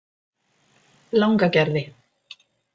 Langagerði